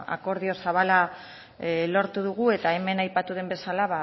akordio zabala lortu dugu eta hemen aipatu den bezala